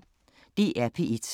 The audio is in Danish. DR P1